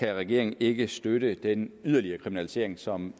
kan regeringen ikke støtte den yderligere kriminalisering som